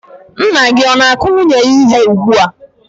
Nna gị o na-akụ nwunye ya ihe ugbu a?